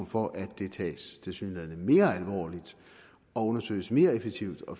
for at det tilsyneladende tages mere alvorligt og undersøges mere effektivt og